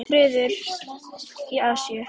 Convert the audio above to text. Friður í Asíu.